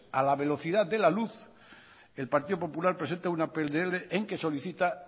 a la velocidad de la luz el partido popular presenta una pnl en la que solicita